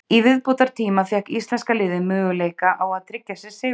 Í viðbótartíma fékk íslenska liðið möguleika á að tryggja sér sigurinn.